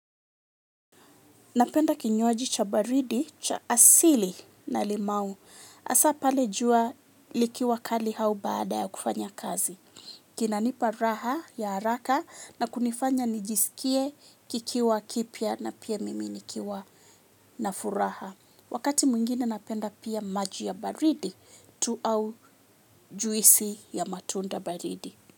Napenda kinywaji cha baridi, cha asili na limau. Hasa pale jua likiwa kali au baada ya kufanya kazi. Kinanipa raha ya haraka na kunifanya nijisikie kikiwa kipya na pia mimi nikiwa na furaha. Wakati mwingine napenda pia majii ya baridi tu au juisi ya matunda baridi.